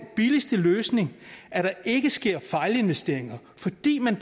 billigste løsning at der ikke sker fejlinvesteringer fordi man